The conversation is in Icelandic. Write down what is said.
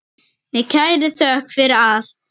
Með kærri þökk fyrir allt.